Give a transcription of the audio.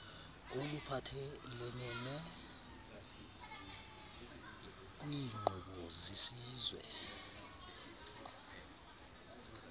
oluphathelelene kwiinkqubo zesizwe